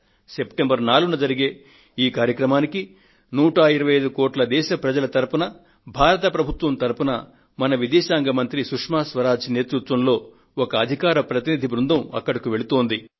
September 4న జరిగే ఈ కార్యక్రమానికి 125 కోట్ల దేశ ప్రజల తరపున భారత ప్రభుత్వం తరపున మన విదేశాంగ మంత్రి సుష్మ స్వరాజ్ నేతృత్వంలో ఒక అధికార ప్రతినిధి బృందం అక్కడకు వెళుతుంది